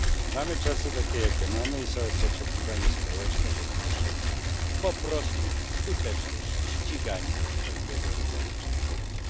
Mamy czasy takie, jakie mamy, i jest oczekiwanie społeczne, że potrzebna jest po prostu skuteczność w ściganiu wszelkiego rodzaju przestępców.